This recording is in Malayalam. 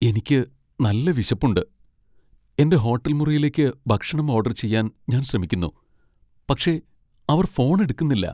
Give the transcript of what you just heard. എനിക്ക് നല്ല വിശപ്പുണ്ട്, എന്റെ ഹോട്ടൽ മുറിയിലേക്ക് ഭക്ഷണം ഓഡർ ചെയ്യാൻ ഞാൻ ശ്രമിക്കുന്നു. പക്ഷേ അവർ ഫോണ് എടുക്കുന്നില്ല.